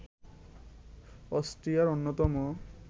অস্ট্রিয়ার অন্যতম